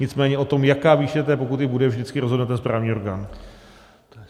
Nicméně o tom, jaká výše té pokuty bude, vždycky rozhodne ten správní orgán.